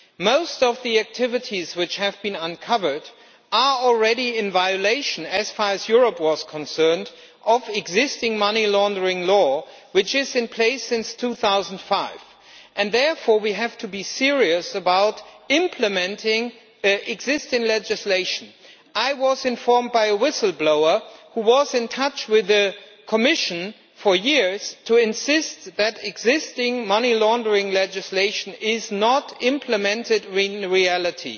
Most of the activities which have been uncovered are already in violation, as far as Europe is concerned, of existing money laundering law which has been in place since 2005. Therefore we have to be serious about implementing existing legislation. I have been informed by a whistle blower that he has been in touch with the Commission for years to insist that existing money laundering legislation is not being implemented in reality.